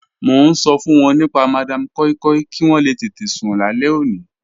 Mọ̀ n ṣọ fun wọn nípa Madam Koi Koi kí wọn lè tẹtẹ̀ sún làlẹ̀ ọ̀ní.